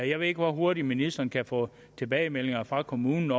jeg ved ikke hvor hurtigt ministeren kan få tilbagemeldinger fra kommunerne